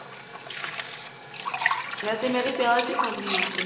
ਵੇਸੇ ਮੈਂ ਤੇ ਪਿਆਜ ਵੀ ਪਾਉਂਦੀ ਹਾਂ ਵਿਚੇ